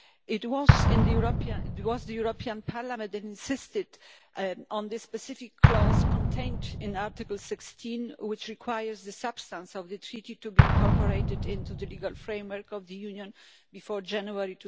It was the European Parliament that insisted on this specific clause contained in Article 16, which requires the substance of the Treaty to be incorporated into the legal framework of the Union before January